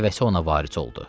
Nəvəsi ona varis oldu.